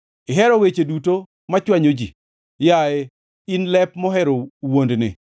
Ihero weche duto machwanyo ji, yaye in lep mohero wuondni!